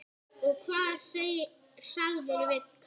Og hvað sagðirðu við kallinn?